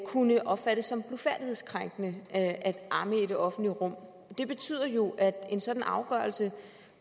kunne opfattes som blufærdighedskrænkende at amme i det offentlige rum det betyder jo at en sådan afgørelse